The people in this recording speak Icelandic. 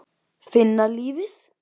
Finna lífið.